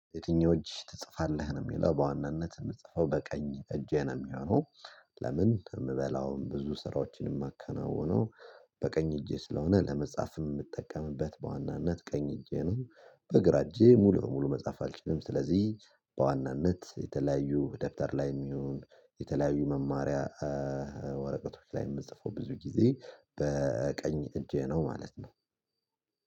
የትኛው እጅ ትጽፋለህ ነው የሚለው፤ በዋናነት የምትጽፈው በቀኝ እጄን የሚሆነው ለምን የምበላውም ብዙ ስራዎችንም የማከናውነው በቀኝ እጄ ስለሆነ፤ ለመጻፍም የምጠቀምበት በዋናነት ቀኝ እጄ ነው፤ በግራ እጄ ሙሉ በሙሉ መጻፍ አልችልም። ስለዚህ በዋናነት የተለያዩ ደብተር ላይም ይሁን የተለያዩ መማሪያ ወረቀቶች ላይ የምጽፈው ብዙ ጊዜ በቀኝ እጄ ነው ማለት ነው።